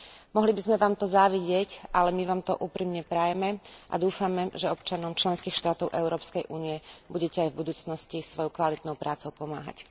Mohli by sme vám to závidieť, ale my vám to úprimne prajeme a dúfame, že občanom členských štátov Európskej únie budete aj v budúcnosti svojou kvalitnou prácou pomáhať.